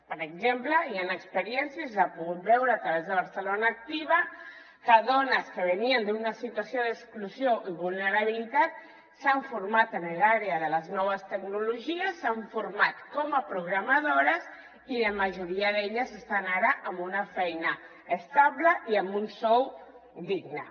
per exemple hi han experiències s’ha pogut veure a través de barcelona activa que dones que venien d’una situació d’exclusió i vulnerabilitat s’han format en l’àrea de les noves tecnologies s’han format com a programadores i la majoria d’elles estan ara amb una feina estable i amb un sou digne